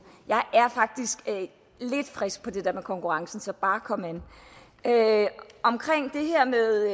jeg er faktisk lidt frisk på det her med konkurrencen så bare kom an omkring det her med